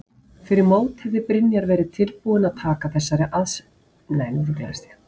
Fyrir mót hefði Brynjar verið tilbúinn að taka þessari stöðu?